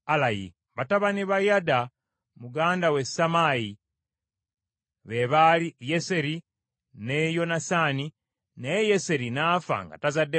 Batabani ba Yada muganda we Sammayi be baali Yeseri ne Yonasaani, naye Yeseri n’afa nga tazadde mwana.